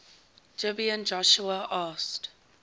gibeon joshua asked